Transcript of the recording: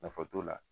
Nafa t'o la